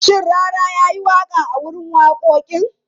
Shin Rarara ya yi waƙa a wurin wakokin?